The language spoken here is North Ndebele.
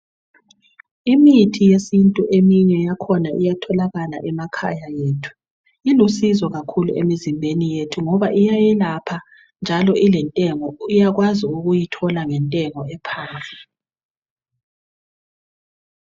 Imithi yesintu eyinye yakhona iyatholakala emakhaya ethu ilusizo kakhulu emizimbeni yethu ngoba iyayelapha njalo ilentengo uyakwazi ukuyithola ngentengo ephansi